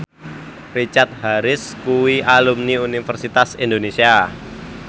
Richard Harris kuwi alumni Universitas Indonesia